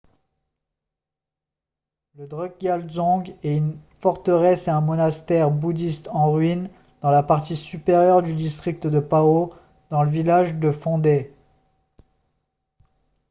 le drukgyal dzong est une forteresse et un monastère bouddhiste en ruine dans la partie supérieure du district de paro dans le village de phondey